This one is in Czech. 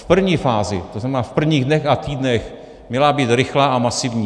V první fázi, to znamená v prvních dnech a týdnech, měla být rychlá a masivní.